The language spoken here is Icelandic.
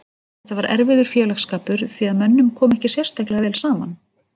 Þetta var erfiður félagsskapur því að mönnum kom ekki sérstaklega vel saman.